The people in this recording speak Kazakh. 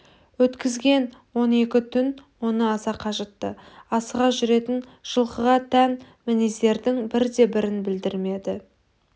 өткізген он екі түн оны аса қажытты асыға жүретін жылқыға тән мінездердің бірде-бірін білдірмеді